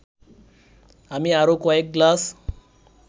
আমি আরও কয়েক গ্লাস